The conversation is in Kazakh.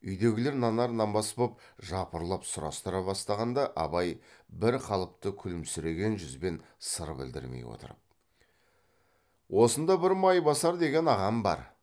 үйдегілер нанар нанбас боп жапырлап сұрастыра бастағанда абай бір қалыпты күлімсіреген жүзбен сыр білдірмей отырып осында бір майбасар деген ағам бар